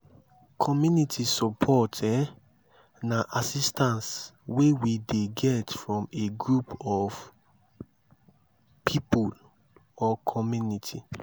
community support um na assistance wey we dey get from a group of pipo or community